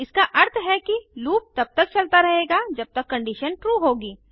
इसका अर्थ है कि लूप तब तक चलता रहेगा जब तक कंडीशन ट्रू होगी